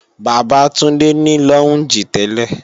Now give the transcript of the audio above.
Bàbá Túndé ní lọ́únjì tẹ́lẹ̀